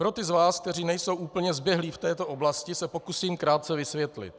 Pro ty z vás, kteří nejsou úplně zběhlí v této oblasti, se pokusím krátce vysvětlit.